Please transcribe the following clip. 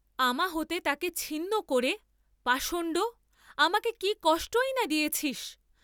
আমা হতে তাকে ছিন্ন করে, পাষণ্ড; আমাকে কি কষ্টই না দিয়েছিস?